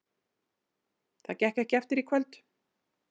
Það gekk ekki eftir í kvöld.